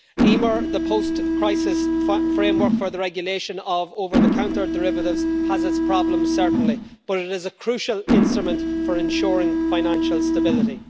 EMIR, the post crisis framework for the regulation of over the counter derivatives, has its problems certainly, but it is a crucial instrument for ensuring financial stability.